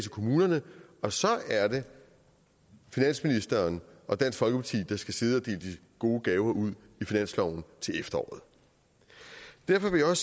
i kommunerne og så er det finansministeren og dansk folkeparti der skal sidde og dele gode gaver ud i finansloven til efteråret derfor vil jeg